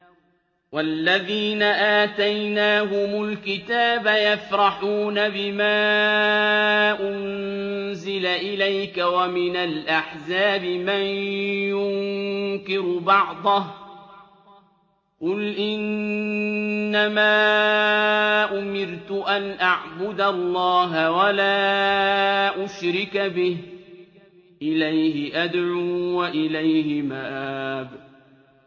وَالَّذِينَ آتَيْنَاهُمُ الْكِتَابَ يَفْرَحُونَ بِمَا أُنزِلَ إِلَيْكَ ۖ وَمِنَ الْأَحْزَابِ مَن يُنكِرُ بَعْضَهُ ۚ قُلْ إِنَّمَا أُمِرْتُ أَنْ أَعْبُدَ اللَّهَ وَلَا أُشْرِكَ بِهِ ۚ إِلَيْهِ أَدْعُو وَإِلَيْهِ مَآبِ